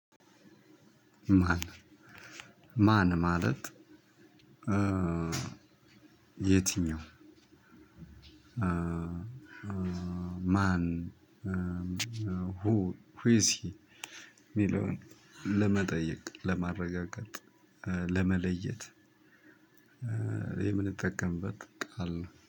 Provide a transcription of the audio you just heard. ማን? ማን? ማለት የትኛው? ማን ሁ ኢዝ ሂ ሚለውን ለመጠየቅ ለማረጋገጥ ለመለየት። የምንጠቀምበት ቃል ነው